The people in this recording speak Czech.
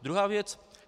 Druhá věc.